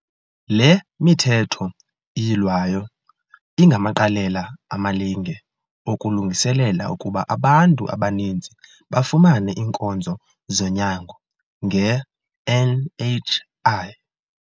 Le Mithetho iYilwayo ingamaqalela amalinge okulungiselela ukuba abantu abaninzi bafumane iinkonzo zonyango nge-NHI.